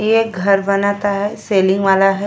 ये घर बनाता है। सेलिंग वाला है।